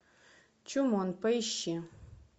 чумон поищи